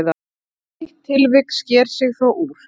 Eitt tilvik sker sig þó úr.